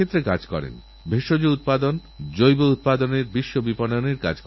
অন্ধ্রপ্রদেশও২০২৯ সালের মধ্যে রাজ্যের সবুজায়ন ৫০ শতাংশে বাড়ানোর লক্ষ্যমাত্রা নিয়েছে